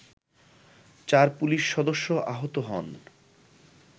চার পুলিশ সদস্য আহত হন